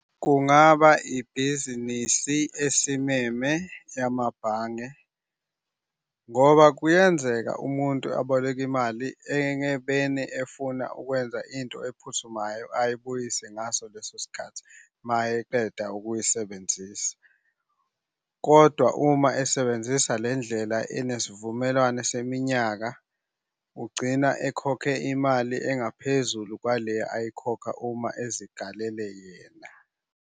Kungaba ibhizinisi esimeme amabhange, ngoba kuyenzeka umuntu aboleke imali efuna ukwenza into ephuthumayo ayibuyise ngaso leso sikhathi uma eqeda ukuyisebenzisa, kodwa uma esebenzisa le ndlela enesivumelwane seminyaka, ugcina ekhokhe imali engaphuzulu kwale ezikalele yena.